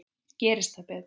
Gerist það betra.